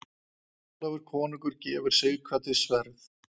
Ólafur konungur gefur Sighvati sverð.